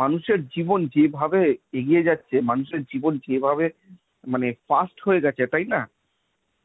মানুষের জীবন যেভাবে এগিয়ে যাচ্ছে, মানুষের জীবন যেভাবে fast হয়ে গেছে তাই না?